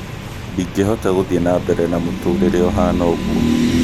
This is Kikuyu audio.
"ndingĩhota gũthiĩ na mbere na mũturire ũhana ũguo